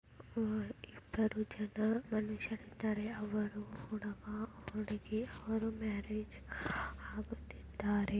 ಅವರು ಇಬ್ಬರು ಜನರು ಛತ್ರದಲ್ಲಿ ಇದ್ದಾರೆ ಅವರು ಹುಡುಗ ಹುಡುಗಿ ಅವರು ಮ್ಯಾರೇಜ್ ಆಗುತ್ತಿದಾರೆ.